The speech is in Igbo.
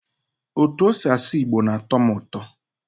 Otú o si asụ igbo na-atọ m ụtọ.